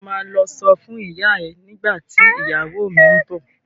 Ṣo ma lọ sọ fún ìyá ẹ nígbà tí ìyàwó mi ń bọ̀?